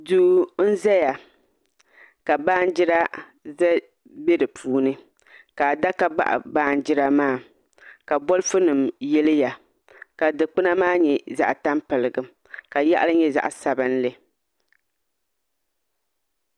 Duu n ʒɛya ka baanjira bɛ di puuni ka adaka baɣa baanjira maa ka bolfu nim yiliya ka dikpuna maa nyɛ zaɣ tampilim ka yaɣali nyɛ zaɣ sabinli